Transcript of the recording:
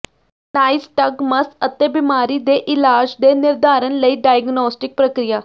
ਨਾਈਸਟਗਮਸ ਅਤੇ ਬਿਮਾਰੀ ਦੇ ਇਲਾਜ ਦੇ ਨਿਰਧਾਰਨ ਲਈ ਡਾਇਗਨੋਸਟਿਕ ਪ੍ਰਕਿਰਿਆ